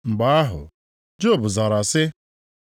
Mgbe ahụ, Job zara sị: